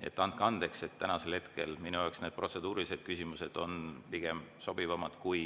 Nii et andke andeks, täna on minu jaoks need protseduurilised küsimused sobivamad kui